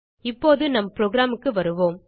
இப்போது நம் programக்கு வருவோம்